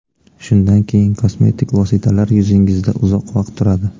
Shundan keyin kosmetik vositalar yuzingizda uzoq vaqt turadi.